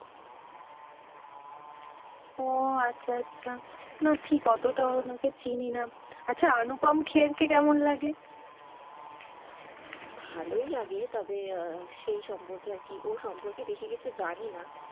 ওও আচ্ছা আচ্ছা, না ঠিক ওতো টাও ওনাকে চিনি না, আচ্ছা আনুপম খের কে কেমন লাগে? ভালোই লাগে তবে সেই সম্পর্কে আর কি, ওর সম্পর্কে বেশি কিছু জানি না,